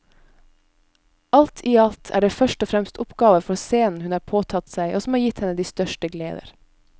Alt i alt er det først og fremst oppgaver for scenen hun har påtatt seg og som har gitt henne de største gleder.